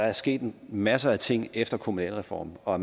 er sket en masse ting efter kommunalreformen og